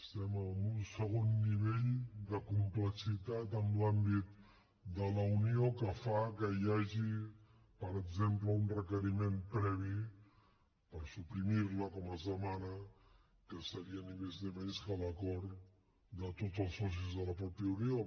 estem en un segon nivell de complexitat en l’àmbit de la unió que fa que hi hagi per exemple un requeriment previ per suprimir la com es demana que seria ni més ni menys que l’acord de tots els socis de la mateixa unió